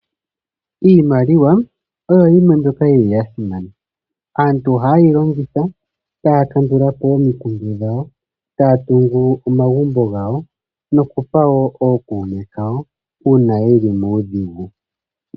Iimaliwa oyo yimwe mbyoka yili ya simana. aantu ohaa yi longitha taa kandulapo omikundu dhawo, taa tungu omagumbo gawo nokupa woo okuume kawo, uuna yeli muudhigu.